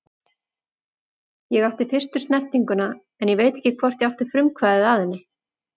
Ég átti fyrstu snertinguna en ég veit ekki hvort ég átti frumkvæðið að henni.